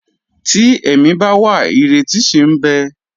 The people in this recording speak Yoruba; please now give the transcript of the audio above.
Tí ẹ̀mí bá wà, ìrètí ṣì ń bẹ.